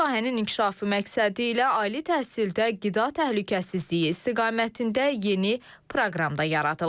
Bu sahənin inkişafı məqsədilə ali təhsildə qida təhlükəsizliyi istiqamətində yeni proqram da yaradılır.